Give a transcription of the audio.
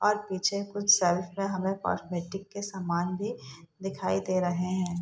और पीछे कुछ सेल्फ में हमें कॉस्मेटिक के सामान भी दिखाई दे रहे हैं ।